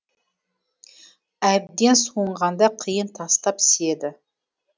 әбден суынғанда қиын тастап сиеді